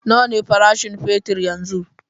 Nawa ne farashin fetur yanzun?